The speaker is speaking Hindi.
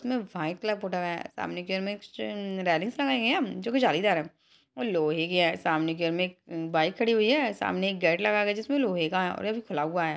उसमे व्हाइट कलर पोटा गया है सामने के रैलिंग लगाई है जो की जालीदार है और लोहे की है सामने के घर में एक अ-बाइक खड़ी हुई है सामने एक गेट लगाया गया है जिसमे लोहा का है और ये अभी खुला हुआ है।